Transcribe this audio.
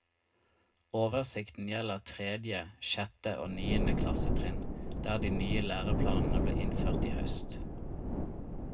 Oversikten gjelder tredje, sjette og niende klassetrinn, der de nye læreplanene ble innført i høst.